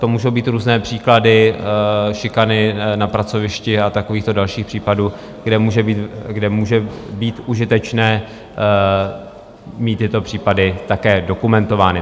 To můžou být různé příklady šikany na pracovišti a takovýchto dalších případů, kde může být užitečné mít tyto případy také dokumentovány.